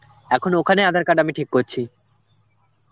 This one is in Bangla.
এখন ওখানে aadhar card আমি ঠিক করছি.